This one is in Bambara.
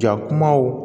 Jakumaw